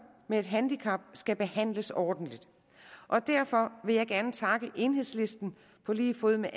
med et handicap skal behandles ordentligt og derfor vil jeg gerne takke enhedslisten på lige fod med